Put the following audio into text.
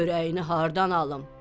Çörəyini hardan alım?